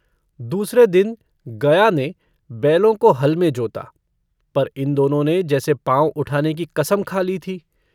दूसरे दिन गया ने बैलों को हल में जोता पर इन दोनों ने जैसे पाँव उठाने की कसम खा ली थी।